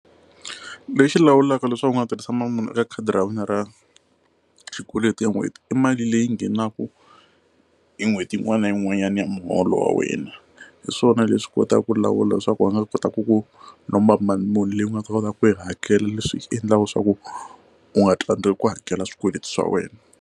Lexi lawulaka leswaku u nga tirhisa mali muni eka khadi ra wena ra xikweleti ya n'hweti i mali leyi nghenaka hi n'hweti yin'wana na yin'wanyana ya muholo wa wena hi swona leswi kotaka ku lawula leswaku va nga kota ku ku lomba mali muni leyi u nga ta kotaka ku yi hakela leswi endlaka leswaku u nga tsandziwi ku hakela swikweleti swa wena.